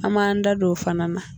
An b'an da dɔ o fana na